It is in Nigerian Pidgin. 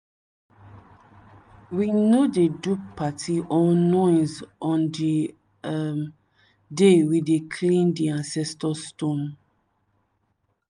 we no dey do party or noise on di um day we dey clean di ancestor stone.